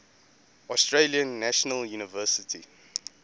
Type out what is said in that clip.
australian national university